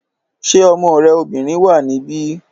Ṣé ọmọ rẹ obìnrin wà níbí?